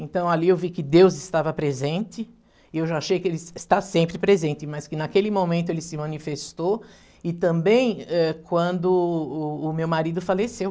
Então ali eu vi que Deus estava presente e eu já achei que ele es está sempre presente, mas que naquele momento ele se manifestou e também eh, quando o o meu marido faleceu.